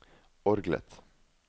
orgelet